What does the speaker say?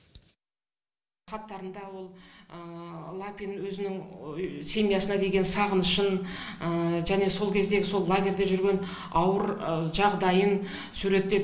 хаттарында ол лапин өзінің семьясына деген сағынышын және сол кездегі сол лагерьде жүрген ауыр жағдайын суреттеп